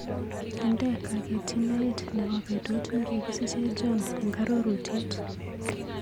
Indee kaketyinaet nebo betut nekikisiche John eng arorutiet.